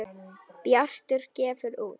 Bjartur gefur út